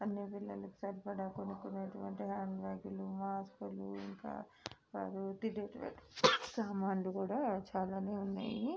సరిపడ్డ కొనుక్కున్నట్టు వంటి హ్యాండ్ బ్యాగులు సామాన్లు కూడా చాలానే ఉన్నాయి.